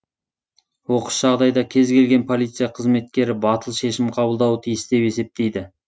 оқыс жағдайда кез келген полиция қызметкері батыл шешім қабылдауы тиіс деп есептейді